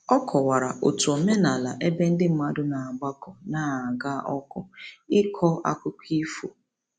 Ọ kọwara otu omenala ebe ndị mmadụ na-agbakọ n'aga ọkụ ịkọ akụkọ ifo.